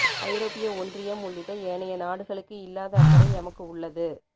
ஐரோப்பிய ஒன்றியம் உள்ளிட்ட ஏனைய நாடுகளுக்கு இல்லாத அக்கறை எமக்கு உள்ளது